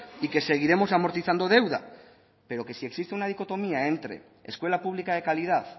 y que seguiremos amortizando deuda pero que si existe una dicotomía entre escuela pública de calidad